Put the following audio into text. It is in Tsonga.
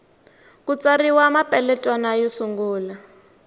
ku tsariwa mapeletwana yo sungula